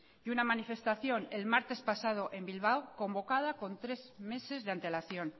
y una manifestación el martes pasado en bilbao convocada con tres meses de antelación